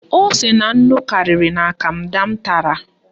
Ose na nnu karịrị na Kanda m tara